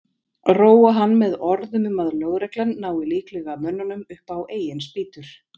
Róa hann með orðum um að lögreglan nái líklega mönnunum upp á eigin spýtur.